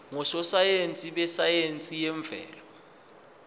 ngososayense besayense yemvelo